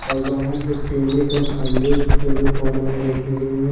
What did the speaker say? और बाहर में केले का खंभे दोनों कोना में रखे गए हैं।